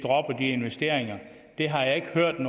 investeringer det har jeg ikke hørt